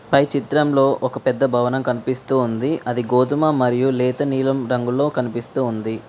పై చిత్రంలో ఒక పెద్ద భవనం కనిపిస్తూ ఉంది అది గోధుమ మరియు లేత నీలం రంగులో కనిపిస్తూ ఉంది.